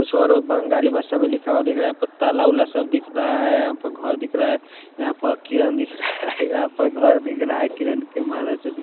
कुछ और बंगाली भाषा में लिखा हुआ दिख रहा है पत्ता सब दिख रहा है यहाँ पर घर दिख रहा है यहां पर किरण दिख रहा है यहां पर घर दिख रहा है किरण के --